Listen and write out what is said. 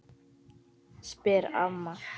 spyr amma.